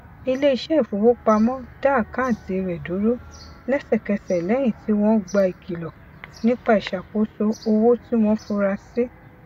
iléiṣẹ ìfowopamọ dá àkántì rẹ dúró lẹsẹkẹsẹ lẹyìn tí wọn gba ìkìlọ nípa ìṣàkóso owó tí wọn fura sí